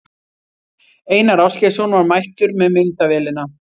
Einar Ásgeirsson var mættur með myndavélina.